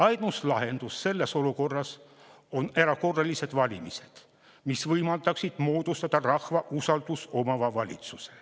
Ainus lahendus selles olukorras on erakorralised valimised, mis võimaldaksid moodustada rahva usaldust omava valitsuse.